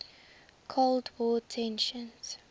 cold war tensions